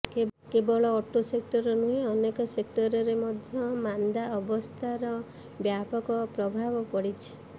କେବଳ auto sector ନୁହେଁ ଅନେକ ସେକ୍ଟରରେ ମଧ୍ୟ ମାନ୍ଦାବସ୍ଥାର ବ୍ୟାପକ ପ୍ରଭାବ ପଡିଛି